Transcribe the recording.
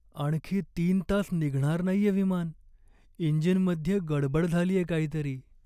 आणखी तीन तास निघणार नाहीये विमान. इंजिनमध्ये गडबड झालीये काहीतरी.